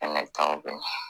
Fɛnɛ ye kabako ye